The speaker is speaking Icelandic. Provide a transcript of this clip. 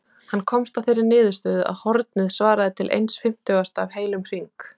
Hann komst að þeirri niðurstöðu að hornið svaraði til eins fimmtugasta af heilum hring.